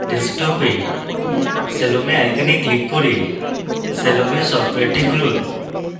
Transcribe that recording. ডেস্কটপে salome icon click করে salome সফটওয়্যারটি খুলুন